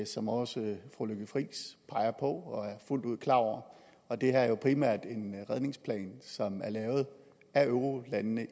som også fru lykke friis peger på og er fuldt ud klar over og det her er jo primært en redningsplan som er lavet af eurolandene